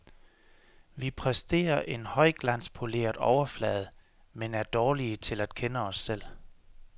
Vi præsterer en højglanspoleret overflade, men er dårlige til at kende os selv.